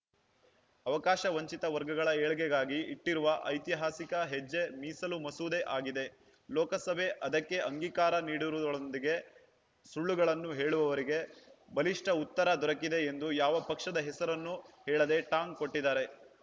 ಅವಕಾಶವಂಚಿತ ವರ್ಗಗಳ ಏಳ್ಗೆಗಾಗಿ ಇಟ್ಟಿರುವ ಐತಿಹಾಸಿಕ ಹೆಜ್ಜೆ ಮೀಸಲು ಮಸೂದೆ ಆಗಿದೆ ಲೋಕಸಭೆ ಅದಕ್ಕೆ ಅಂಗೀಕಾರ ನೀಡುವುದರೊಂದಿಗೆ ಸುಳ್ಳುಗಳನ್ನು ಹೇಳುವವರಿಗೆ ಬಲಿಷ್ಠ ಉತ್ತರ ದೊರಕಿದೆ ಎಂದು ಯಾವ ಪಕ್ಷದ ಹೆಸರನ್ನೂ ಹೇಳದೇ ಟಾಂಗ್‌ ಕೊಟ್ಟಿದ್ದಾರೆ